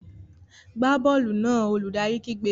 Gbá bọ́ọ̀lù náà! Olùdarí kígbe.